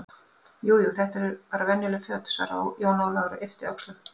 Jú, jú, þetta eru bara venjuleg föt, svaraði Jón Ólafur og yppti öxlum.